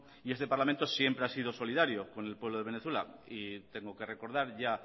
y este parlamento siempre ha sido solidario con el pueblo de venezuela y tengo que recordar ya